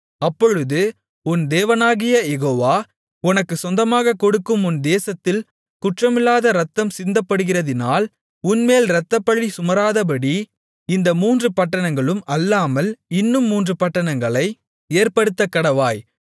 அப்பொழுது உன் தேவனாகிய யெகோவா உனக்குச் சொந்தமாகக் கொடுக்கும் உன் தேசத்தில் குற்றமில்லாத இரத்தம் சிந்தப்படுகிறதினால் உன்மேல் இரத்தப்பழி சுமராதபடி இந்த மூன்று பட்டணங்களும் அல்லாமல் இன்னும் மூன்று பட்டணங்களை ஏற்படுத்தக்கடவாய்